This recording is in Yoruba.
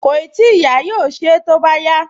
Kòì tíì yá, yóò ṣe é tó bá yá